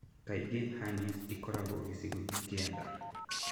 Kaingĩ hernias ĩkoragwo gĩcigoinĩ kĩa nda.